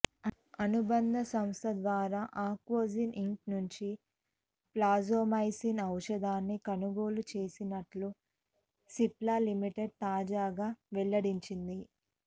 అనుబంధ సంస్థ ద్వారా అకావోజెన్ ఇంక్ నుంచి ప్లాజోమైసిన్ ఔషధాన్ని కొనుగోలు చేసినట్లు సిప్లా లిమిటెడ్ తాజాగా వెల్లడించింది